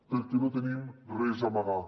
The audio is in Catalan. perquè no tenim res a amagar